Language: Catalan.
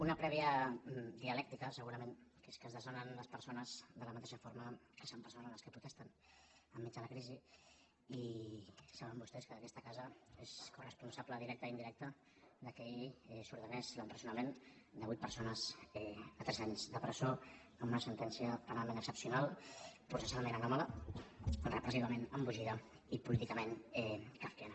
una prèvia dialèctica segurament que és que es desnonen les persones de la mateixa forma que s’empresonen les que protesten enmig de la crisi i saben vostès que aquesta casa és coresponsable directa i indirecta que ahir s’ordenés l’empresonament de vuit persones a tres anys de presó amb una sentència penalment excepcional processalment anòmala repressivament embogida i políticament kafkiana